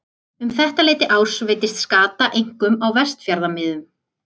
Um þetta leyti árs veiddist skata einkum á Vestfjarðamiðum.